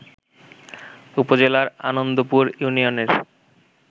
উপজেলার আনন্দপুর ইউনিয়নের